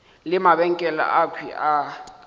le mabenkele akhwi a ka